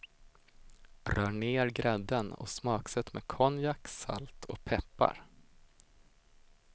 Rör ner grädden och smaksätt med konjak, salt och peppar.